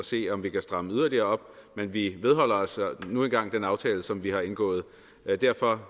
se om vi kan stramme yderligere op men vi holder os nu engang til den aftale som vi har indgået derfor